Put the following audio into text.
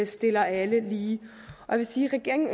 stiller alle lige jeg vil sige at regeringen